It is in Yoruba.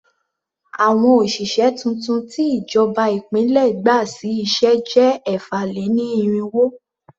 Àwọn òṣìṣẹ́ tuntun tí ìjọba ìpínlẹ̀ gbà sí iṣẹ́ jẹ́ ẹ̀fà-lé-ní-irínwó.